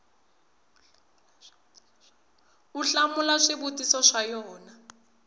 u hlamula swivutiso swa yona